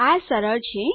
આ સરળ છે